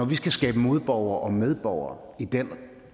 vi skal skabe modborgere og medborgere i den